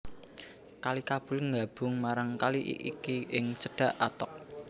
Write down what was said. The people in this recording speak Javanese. Kali Kabul nggabung marang kali iki ing cedhak Attock